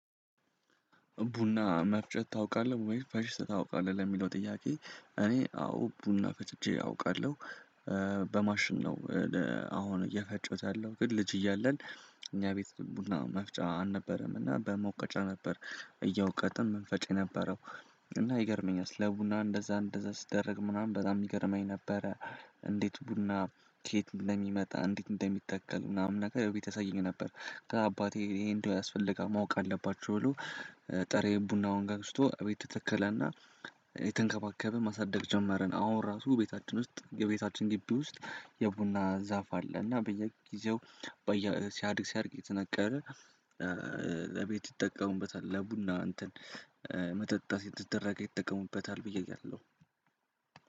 ቡና መፍጨት ታውቃለህ ወይ ፈጭት ታውቃለህ ለሚለው ጥያቄ እኔ አዎ ቡና ፈጭቼ አውቃለሁ። በማሽን ነው። አሁን እየፈጨሁት ያለው ግን ልጅ እያለን እኛ ቤት ቡና መፍጫ አልነበረም እና በመውቀጫ ነበር። እያወቀጥን መንፈጫ የነበረው። እና ይገርመኛል ስለ ቡና እንደዛ እንደዛ ስደረግ ምናምን በጣም ይገርመኝ ነበረ። እንዴት ቡና ከየት እንደሚመጣ እንዴት እንደሚተከል ምናምን ነገር እውቀት ይሰጠኝ ነበር። ከአባቴ ይሄ እንደው ያስፈልጋል ማወቅ አለባችሁ ብሎ። ቡናውን ገዝስቶ እቤቱ ተከለና። የተንከባከበ ማሳደግ ጀመርን አሁን ራሱ ቤታችን ውስጥ የቤታችን ግቢ ውስጥ የቡና ዛፍ አለ። እና በየጊዜው ሲያድግ ሲያድግ የተነገረ ለቤት ይጠቀሙበታል ለቡና እንትን መጠጣት የተደረገ ይጠቀሙበታል ብዬ እያለሁ